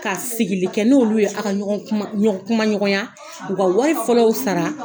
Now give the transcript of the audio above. Ka sigili kɛ n'olu ye, a ka ɲɔgɔn kuma, kumaɲɔgɔnya.U ka wari fɔlɔw sara